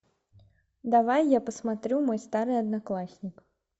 давай я посмотрю мой старый одноклассник